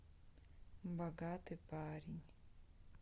богатый парень